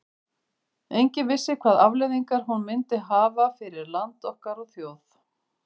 Enginn vissi hvaða afleiðingar hún myndi hafa fyrir land okkar og þjóð.